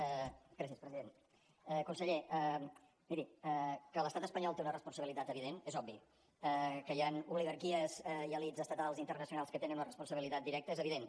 gràcies president conseller miri que l’estat espanyol té una responsabilitat evident és obvi que hi han oligarquies i elits estatals i internacionals que hi tenen una responsabilitat directa és evident